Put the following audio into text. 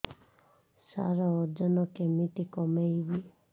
ସାର ଓଜନ କେମିତି କମେଇବି